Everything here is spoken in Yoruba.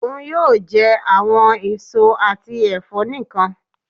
Oun yoo jẹ awọn eso ati ẹfọ nikan.